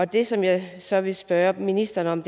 det som jeg så vil spørge ministeren om